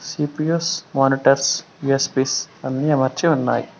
GPS monitors అన్ని అమర్చి ఉన్నాయ్.